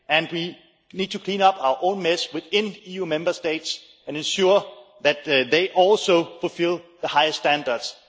We need to clean up our own mess within EU Member States and ensure that they also fulfil the highest standards.